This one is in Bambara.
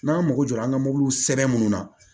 N'an mago jɔra an ka mobiliw sɛbɛn minnu na